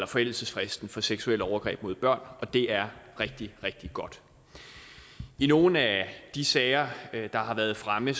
forældelsesfristen for seksuelle overgreb mod børn og det er rigtig rigtig godt i nogle af de sager der har været fremme